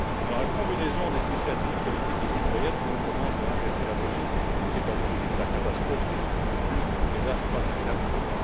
C'est dans la combinaison des initiatives politiques et citoyennes que l'on commence à inverser la logique, qui est à l'origine de la catastrophe, qui ne constitue, hélas, pas un cas isolé.